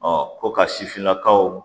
ko ka sifinnakaw